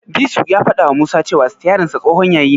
Disu ya fadawa Musa cewa sitiyarinsa tsohon yayi ne.